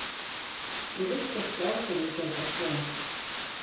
Ég vissi ekki á hverju ég gæti átt von.